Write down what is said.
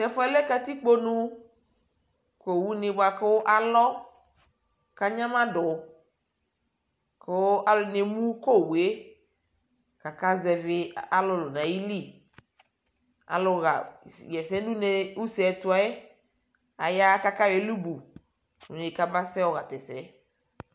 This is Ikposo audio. tɛ ɛƒʋɛ lɛ katikpɔ nʋ kʋ ɔwʋ ni bʋakʋ alɔ kʋ anyama dʋ kʋ alʋɛdini ɛmʋ kɔ ɔwʋɛ kʋ aka zɛvi alʋlʋ nʋ ayili, alɔ yɛsɛ nʋ ʋsɛɛ ɛtʋɛ aya kʋ aka yɔ ɛlʋbʋ ʋnɛ kaba yɔ ha tɛsɛ